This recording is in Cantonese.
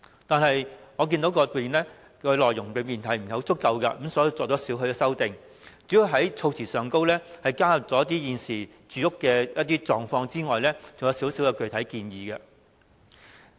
但是，我看到議案的內容並不足夠，作出少許修訂，除了在措辭中反映現時市民的住屋狀況外，還提出一些具體建議。